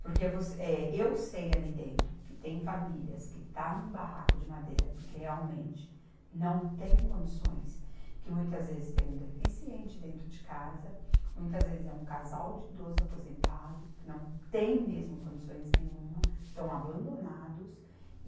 Porque você, eh, eu sei ali dentro que tem famílias que está num barraco de madeira porque realmente não tem condições, que muitas vezes tem um deficiente dentro de casa, muitas vezes é um casal de idoso aposentado, não tem mesmo condições nenhuma, estão abandonados.